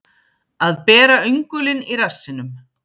Að bera öngulinn í rassinum